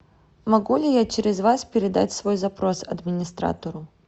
могу ли я через вас передать свой запрос администратору